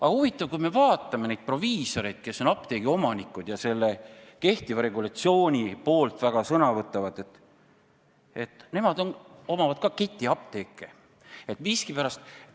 Aga huvitav on see, et kui me vaatame neid proviisoreid, kes on apteegiomanikud ja kehtiva regulatsiooni poolt väga palju sõna võtavad, siis ka nemad omavad ketiapteeke.